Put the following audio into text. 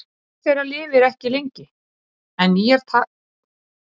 Hver þeirra lifir ekki lengi en nýjar taka gjarnan við af þeim sem deyja.